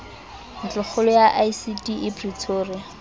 ntlokgolo ya icd e pretoria